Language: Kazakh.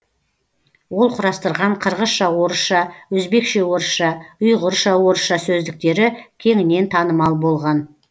ол құрастырған қырғызша орысша өзбекше орысша ұйғырша орысша сөздіктері кеңінен танымал болған